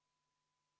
Rene Kokk, palun!